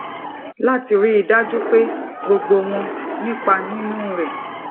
lati rí i dájú pé gbogbo wọn nipa nínú rè